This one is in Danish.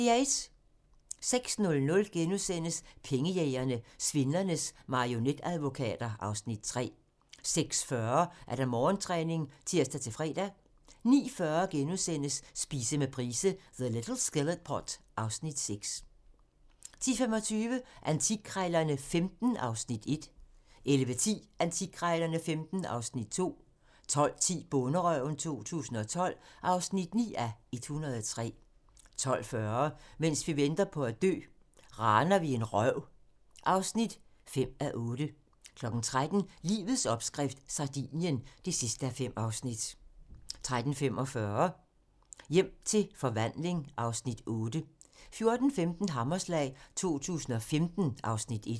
06:00: Pengejægerne - Svindlernes marionetadvokater (Afs. 3)* 06:40: Morgentræning (tir-fre) 09:40: Spise med Price - The little skillet pot (Afs. 6)* 10:25: Antikkrejlerne XV (Afs. 1) 11:10: Antikkrejlerne XV (Afs. 2) 12:10: Bonderøven 2012 (9:103) 12:40: Mens vi venter på at dø - raner vi en røv (5:8) 13:00: Livets opskrift - Sardinien (5:5) 13:45: Hjem til forvandling (Afs. 8) 14:15: Hammerslag 2015 (Afs. 1)